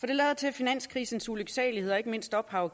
det lader til at finanskrisens ulyksaligheder og ikke mindst ophav